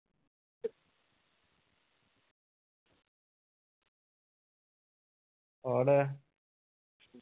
ਹੋਰ।